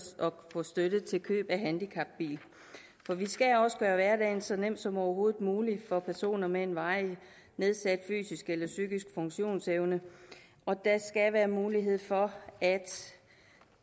få støtte til køb af handicapbil for vi skal også gøre hverdagen så nem som overhovedet muligt for personer med en varigt nedsat fysisk eller psykisk funktionsevne og der skal være mulighed for at